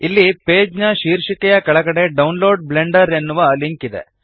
ಇಲ್ಲಿ ಪೇಜ್ನ ಶೀರ್ಷಿಕೆಯ ಕೆಳಗಡೆ ಡೌನ್ಲೋಡ್ ಬ್ಲೆಂಡರ್ ಎನ್ನುವ ಲಿಂಕ್ ಇದೆ